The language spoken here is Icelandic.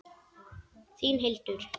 Þín Hildur.